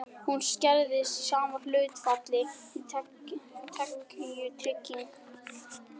Hún skerðist í sama hlutfalli og tekjutrygging.